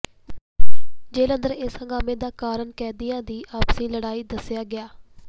ਜੇਹਲ ਅੰਦਰ ਇਸ ਹੰਗਾਮੇ ਦਾ ਕਾਰਨ ਕੈਦੀਆਂ ਦੀ ਆਪਸੀ ਲੜਾਈ ਦੱਸਿਆ ਗਿਆ